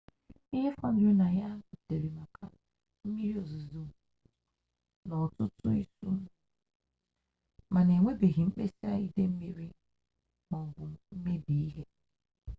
ihe fọdụrụ na ya butere maka mmiri ozizo n'ọtụtụ isuo mana enwebeghị mkpesa ide mmiri m'ọbụ mmebi ihe